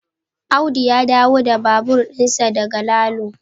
Audu ya dawo da babur dinsa daga Lalo